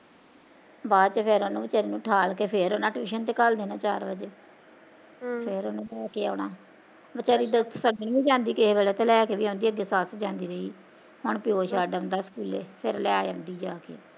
ਬਾਦ ਚ ਫੇਰ ਉਹਨੂੰ ਵੀਚਾਰੀ ਨੂੰ ਠਾਲ ਕੇ ਫੇਰ ਉਹਨਾਂ tuition ਤੇ ਘੱਲ ਦੇਣਾ ਚਾਰ ਵਜੇ ਹਮ ਫੇਰ ਲੈ ਕੇ ਆਉਣਾ ਵੀਚਾਰੀ ਤਾਂ ਛੱਡਣ ਵੀ ਜਾਂਦੀ ਕਿਸੇ ਵੇਲੇ ਕਦੇ ਲੈ ਕੇ ਵੀ ਆਉਂਦੀ ਰਹੀ ਅੱਗੇ ਸੱਸ ਜਾਂਦੀ ਰਹੀ, ਹੁਣ ਪਿਓ ਛੱਡ ਆਉਂਦਾ ਸਕੂਲੇ, ਫੇਰ ਲੈ ਆਉਂਦੀ ਜਾਂ ਕੇ